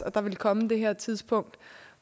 at der ville komme det her tidspunkt